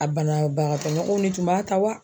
A banabaatɔ ɲɔgɔnw de tun b'a ta wa